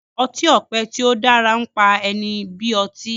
ọti-ọpẹ tí o dára npá ẹni bí ọtí